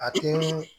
A tɛ